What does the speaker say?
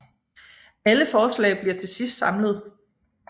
Alle forslag bliver til sidst samlet